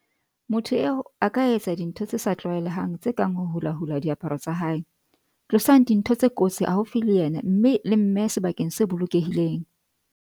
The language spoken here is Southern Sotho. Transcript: Motho eo a ka etsa dintho tse sa tlwaelehang tse kang ho hulahula diaparo tsa hae. "Tlosang dintho tse kotsi haufi le yena mme le mmehe sebakeng se bolokehileng."